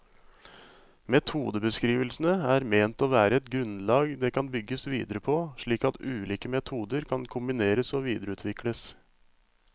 Metodebeskrivelsene er ment å være et grunnlag det kan bygges videre på, slik at ulike metoder kan kombineres og videreutvikles.